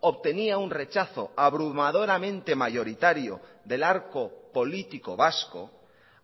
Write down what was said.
obtenía un rechazo abrumadoramente mayoritario del arco político vasco